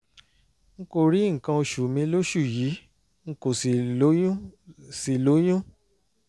n kò rí nǹkan oṣù mi lóṣù yìí n kò sì lóyún sì lóyún